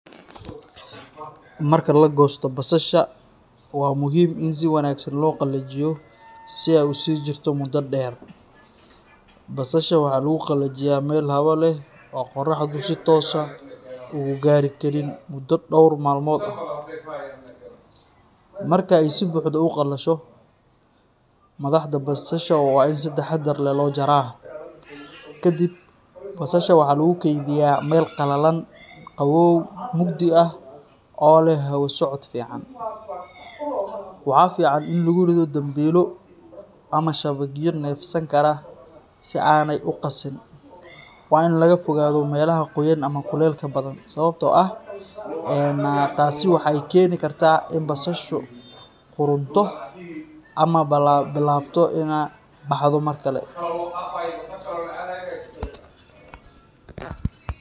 Marka la goosto basasha, waa muhiim in si wanaagsan loo qalajiyo si ay u sii jirto muddo dheer. Basasha waxaa lagu qalajiyaa meel hawo leh oo qorraxdu si toos ah u gaari karin muddo dhowr maalmood ah. Marka ay si buuxda u qalasho, madaxda basasha waa in si taxaddar leh loo jaraa. Kadib, basasha waxaa lagu kaydiyaa meel qalalan, qabow, mugdi ah oo leh hawo socod fiican. Waxaa fiican in lagu rido dambiilo ama shabagyo neefsan kara si aanay u qasin. Waa in laga fogaado meelaha qoyan ama kuleylka badan, een sababtoo ah taasi waxay keeni kartaa in basashu qudhunto ama billaabato inay baxdo mar kale.